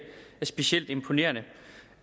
specielt imponerende